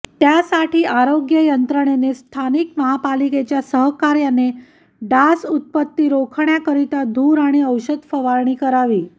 त्यासाठी आरोग्य यंत्रणेने स्थानिक महापालिकेच्या सहकार्याने डास उत्पत्ती रोखण्याकरीता धूर आणि औषध फवारणी करावी